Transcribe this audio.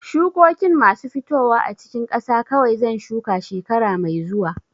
Shukokin masu fitowa a cikin ƙasa kawai zan shuka shekara mai zuwa.